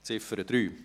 Ziffer 3